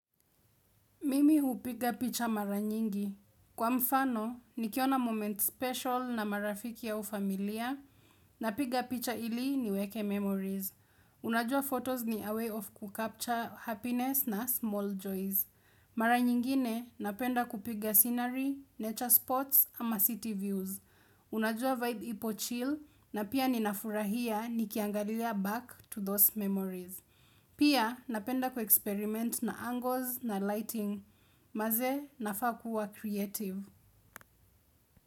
Mimi hupiga picha mara nyingi. Kwa mfano, nikiona moment special na marafiki au familia napiga picha ili niweke memories. Unajua photos ni a way of kucapture happiness na small joys. Mara nyingine napenda kupiga scenery, nature spots ama city views. Unajua vibe ipo chill na pia ninafurahia nikiangalia back to those memories. Pia napenda kuexperiment na angles na lighting, mazee nafaa kuwa creative.